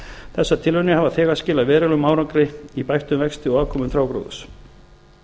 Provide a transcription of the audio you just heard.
þessar tilraunir hafa þegar skilað verulegum árangri í bættum vexti og afkomu trjágróðurs